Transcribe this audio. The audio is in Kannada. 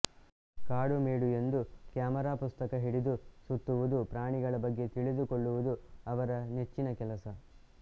ಕಾಡು ಮೇಡು ಎಂದು ಕ್ಯಾಮರಾಪುಸ್ತಕ ಹಿಡಿದು ಸುತ್ತುವುದುಪ್ರಾಣಿಗಳ ಬಗ್ಗೆ ತಿಳಿದುಕೊಳ್ಳುವುದು ಅವರ ನೆಚ್ಚಿನ ಕೆಲಸ